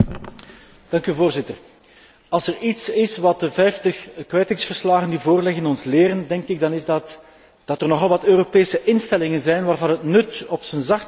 Als er iets is wat de 50 kwijtingsverslagen die voorliggen ons leren, dan is het dat er nogal wat Europese instellingen zijn waarvan het nut op zijn zachtst gezegd betwijfelbaar is.